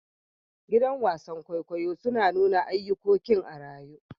Gidan wasan kwaikwayo na nuna ayukokin a'rayu.